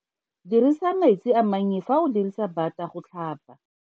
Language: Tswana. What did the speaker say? Dirisa metsi a mannye fa o dirisa bata go tlhapa.